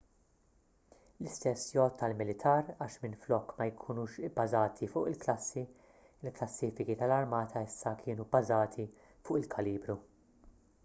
l-istess jgħodd għall-militar għax minflok ma jkunux bbażati fuq il-klassi il-klassifiki tal-armata issa kienu bbażati fuq il-kalibru